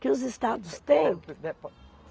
Que os estados têm.